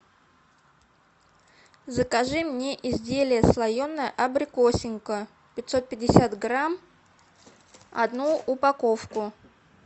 закажи мне изделие слоеное абрикосинка пятьсот пятьдесят грамм одну упаковку